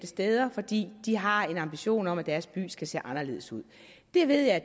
steder fordi de har en ambition om at deres by skal se anderledes ud jeg ved at